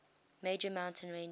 major mountain ranges